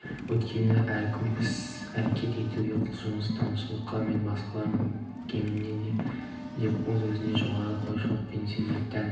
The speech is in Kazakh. өйткені әркімге іс-әрекет етуге құлшыныс танытушылық мен басқалардан кеммін бе деп өзін-өзі жоғары қоюшылық пен сенімділік тән